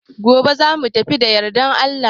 Gobe za mu tafi da yardar Allah.